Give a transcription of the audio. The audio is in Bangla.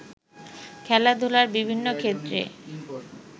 খেলাধুলার বিভিন্ন ক্ষেত্রে